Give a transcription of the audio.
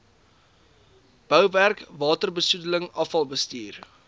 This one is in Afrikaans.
bouwerk waterbesoedeling afvalbestuur